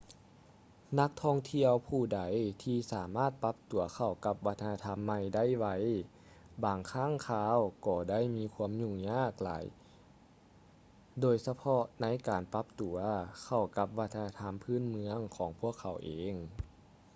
ນັກທ່ອງທ່ຽວຜູ້ໃດທີ່ສາມາດປັບຕົວເຂົ້າກັບວັດທະນະທຳໃໝ່ໄດ້ໄວບາງຄັ້ງຄາວກໍໄດ້ມີຄວາມຫຍຸ້ງຍາກຫຼາຍໂດຍສະເພາະໃນການປັບຕົວເຂົ້າກັບວັດທະນະທຳພື້ນເມືອງຂອງພວກເຂົາເອງ